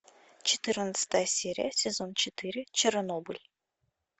четырнадцатая серия сезон четыре чернобыль